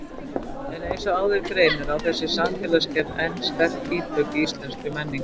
En eins og áður greinir á þessi samfélagsgerð enn sterk ítök í íslenskri menningu.